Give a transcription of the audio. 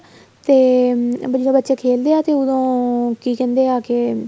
ਤੇ ਵਧੀਆ ਬੱਚੇ ਖੇਲਦੇ ਏ ਤੇ ਉਹਦੋ ਕੀ ਕਹਿੰਦੇ ਏ ਆਕੇ